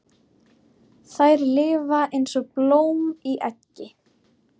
Þær lifa eins og blóm í eggi.